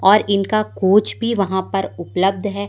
और इनका कोच भी वहां पर उपलब्ध है।